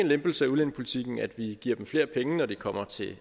lempelse af udlændingepolitikken at vi giver dem flere penge når de kommer til